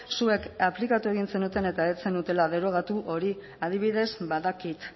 zuek aplikatu egin zenuten eta ez zenutela derogatu hori adibidez badakit